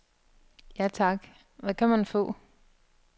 Ja tak, hvad kan man få?